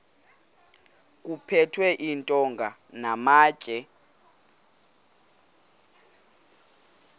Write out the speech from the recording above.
kuphethwe iintonga namatye